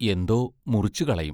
എന്തോ മുറിച്ചുകളയും.